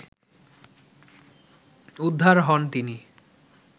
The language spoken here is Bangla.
উদ্ধার হন তিনি